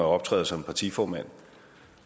optræder som partiformand